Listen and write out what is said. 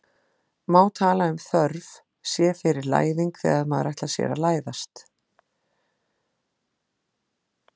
Má tala um þörf sé fyrir læðing þegar maður ætlar sér að læðast?